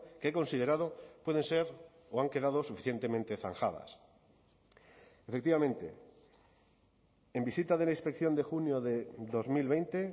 que he considerado pueden ser o han quedado suficientemente zanjadas efectivamente en visita de la inspección de junio de dos mil veinte